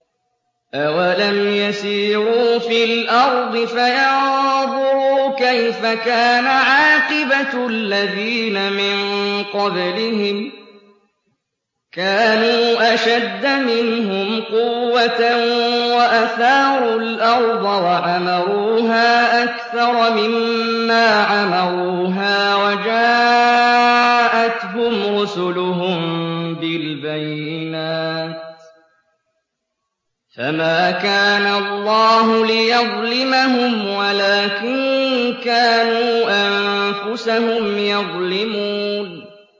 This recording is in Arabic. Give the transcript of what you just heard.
أَوَلَمْ يَسِيرُوا فِي الْأَرْضِ فَيَنظُرُوا كَيْفَ كَانَ عَاقِبَةُ الَّذِينَ مِن قَبْلِهِمْ ۚ كَانُوا أَشَدَّ مِنْهُمْ قُوَّةً وَأَثَارُوا الْأَرْضَ وَعَمَرُوهَا أَكْثَرَ مِمَّا عَمَرُوهَا وَجَاءَتْهُمْ رُسُلُهُم بِالْبَيِّنَاتِ ۖ فَمَا كَانَ اللَّهُ لِيَظْلِمَهُمْ وَلَٰكِن كَانُوا أَنفُسَهُمْ يَظْلِمُونَ